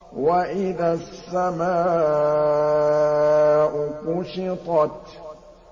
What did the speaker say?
وَإِذَا السَّمَاءُ كُشِطَتْ